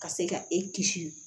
Ka se ka e kisi